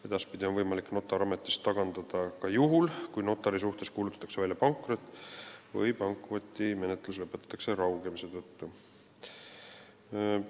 Edaspidi on võimalik notar ametist tagandada ka juhul, kui notari suhtes kuulutatakse välja pankrot või kui pankrotimenetlus lõpetatakse raugemise tõttu.